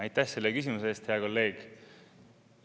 Aitäh selle küsimuse eest, hea kolleeg!